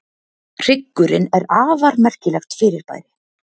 Hryggurinn er afar merkilegt fyrirbæri.